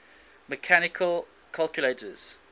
mechanical calculators